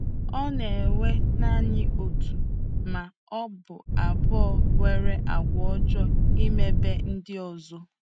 Ọ na-ewe naanị otu ma ọ bụ abụọ nwere àgwà ọjọọ imebi ndị ọzọ.